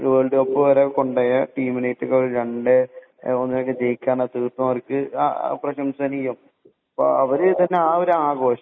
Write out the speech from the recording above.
world cup വരെ കൊണ്ടുപോയ ഒരു ടീമിനെ രണ്ടേ ഒന്നിനൊക്കെ ജയിക്കുക അവര് തന്നെ പ്രശംസനീയം അവര് ആ ഒരു ആഘോഷം